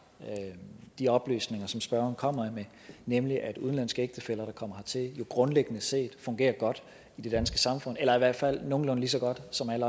de oplysninger som spørgeren kommer med nemlig at udenlandske ægtefæller der kommer hertil jo grundlæggende set fungerer godt i det danske samfund eller i hvert fald nogenlunde lige så godt som alle